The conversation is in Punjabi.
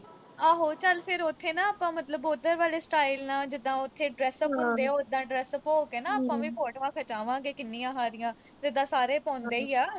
ਆਹੋ ਚਲ ਫਿਰ ਉਥੇ ਨਾ ਆਪਾਂ, ਮਤਲਬ ਉਧਰ ਵਾਲੇ style ਨਾਲ, ਜਿਦਾਂ ਉਥੇ dress up ਹੁੰਦੇ ਉਦਾਂ dress up ਹੋ ਕੇ ਨਾ ਆਪਾਂ, ਫਿਰ photos ਖਿਚਾਵਾਂਗੇ ਕਿੰਨੀਆਂ ਸਾਰੀਆਂ, ਜਿਦਾਂ ਸਾਰੇ ਪਾਉਂਦੇ ਈ ਆ।